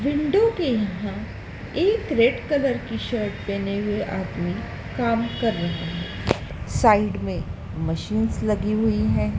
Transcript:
Window के यहां एक रेड कलर की शर्ट पहने हुए आदमी काम कर रहे हैं। साइड में मशीनस लगी हुई है।